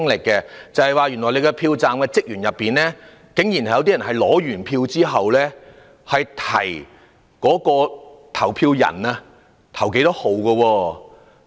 竟有些票站職員在投票人取選票後，提醒投票人該投哪一個號碼。